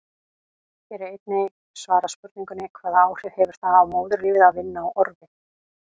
Hér er einnig svarað spurningunum: Hvaða áhrif hefur það á móðurlífið að vinna á orfi?